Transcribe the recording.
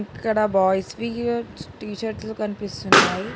ఇక్కడ boys V T షర్ట్లు కనిపిస్తున్నాయి.